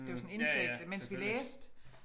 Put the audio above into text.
Det var sådan indtægt mens vi læste